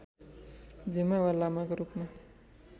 झुमा वा लामाको रूपमा